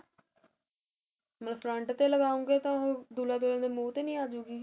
front ਤੇ ਲਗਾਉਗੇ ਤਾ ਦੁਲਹਾ ਦੁਲਹਨ ਦੇ ਮੂਹ ਤੇ ਨਹੀ ਆਜੁਗੀ